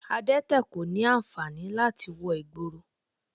Adẹ́tẹ̀ kò ní ànfàní láti wọ ìgboro